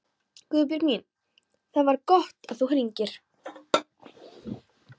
Guðbjörg mín, það var gott að þú hringdir.